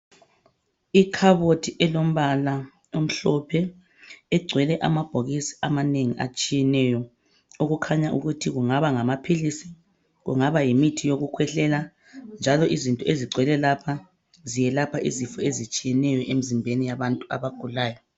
Ikhabothi elompala omhlophe egcwele amabhokisi amanengi atshiyeneyo okukhanya ukuthi kungaba ngamaphilisi , kungaba yimithi yokukhwehlela njalo izinto ezigcwele lapha ziyelapha izifo ezitshiyeneyo emzimbeni yabantu abagulayo.